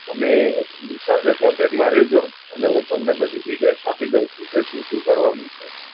તમે વિશાલ સાથે contect માં રેહજો ને હું તમને બધી detail આપી દઉં છુ કે શું શું કરવાનું છે.